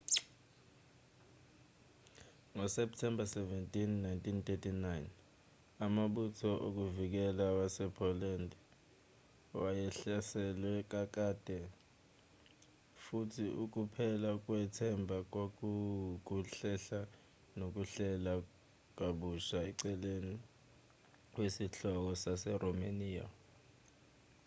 ngosepthemba 17 1939 amabutho avikelayo wasepoland wayehlaselwe kakade futhi ukuphela kwethemba kwakuwukuhlehla nokuhlela kabusha eceleni kwesihloko saseromaniya